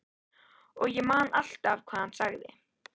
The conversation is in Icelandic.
Og ég man alltaf hvað hann sagði.